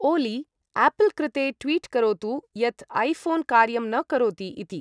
ओली आपल् कृते ट्वीट् करोतु यत् ऐफोन् कार्यं न करोति इति